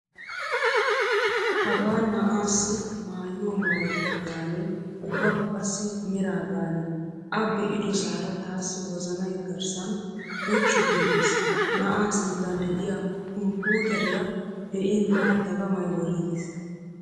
Hagaa na'aassi maayuwa maayettaa gaane ubbakka qassi meraa gaane a be'idosaara taassi wozanay garssan loccu giigiis. Na'aa sinttan de'iyaa kumputeriya be'in tana dagamay worriigiis.